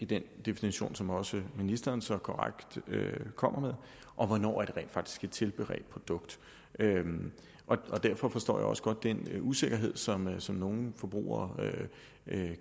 den definition som også ministeren så korrekt kommer med og hvornår det rent faktisk er et tilberedt produkt derfor forstår jeg også godt den usikkerhed som nogle som nogle forbrugere